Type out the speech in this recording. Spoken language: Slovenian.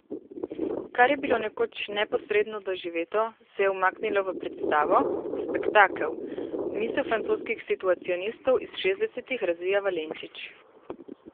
Kar je bilo nekoč neposredno doživeto, se je umaknilo v predstavo, spektakel, misel francoskih situacionistov iz šestdesetih razvija Valenčič.